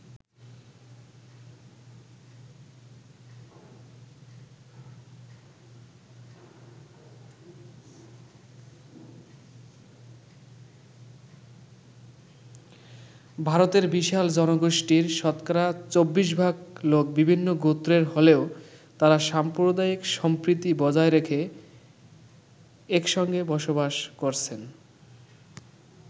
ভারতের বিশাল জনগোষ্ঠীর শতকরা ২৪ ভাগ লোক বিভিন্ন গোত্রের হলেও তারা সাম্প্রদায়িক সম্প্রীতি বজায় রেখে একসঙ্গে বসবাস করছেন।